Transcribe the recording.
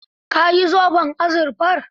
Ka yi zoben azurfar?